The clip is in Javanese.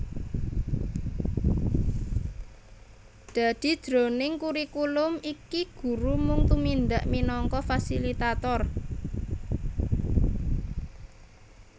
Dadi jroning kurikulum iki guru mung tumindak minangka fasilitator